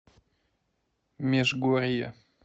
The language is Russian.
межгорье